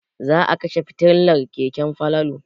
Za a kashe fitilar keken Falalu.